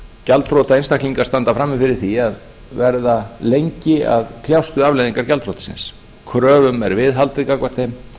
gjaldþrota einstaklingar standa frammi fyrir því að verða lengi að kljást við afleiðingar gjaldþrotsins kröfum er viðhaldið gagnvart þeim